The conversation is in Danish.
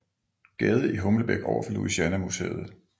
Gade i Humlebæk overfor Louisiana museet